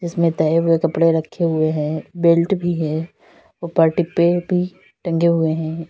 इसमें तहे हुए कपड़े रखे हुए हैं बेल्ट भी है पाटे पे भी टंगे हुए हैं।